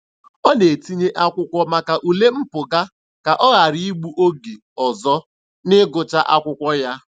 Ọ na-etinye akwụkwọ maka ule mpụga ka ọ ghara igbu oge ọzọ n'ịgụcha akwụkwọ ya.